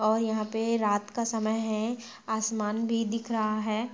और यहाँ पे रात का समय है आसमान भी दिख रहा है।